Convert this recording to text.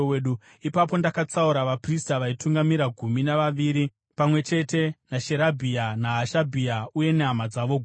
Ipapo ndakatsaura vaprista vaitungamira gumi navaviri, pamwe chete naSherebhia, naHashabhia uye nehama dzavo gumi,